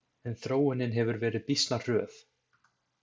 En þróunin hefur verið býsna hröð.